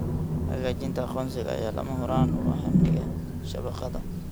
Xaqiijinta aqoonsiga ayaa lama huraan u ah amniga shabakadda.